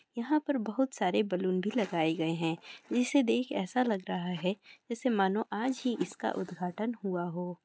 यहाँ पर बहुत सारे बलून भी लगाए गए हैं| इसे देख ऐसा लग रहा है जैसै मानो की आज ही इसका उदघाटन हुआ हो ।